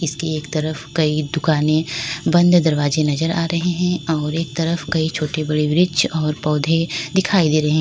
इसके एक तरफ कई दुकानें बंद दरवाजे नजर आ रहे हैं और एक तरफ कई छोटे बड़े वृक्ष और पौधे दिखाई दे रहे है।